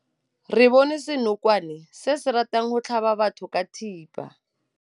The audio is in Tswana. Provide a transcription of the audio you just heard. Re bone senokwane se se ratang go tlhaba batho ka thipa.